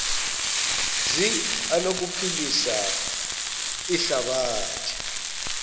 zi anokuphilisa ihlabathi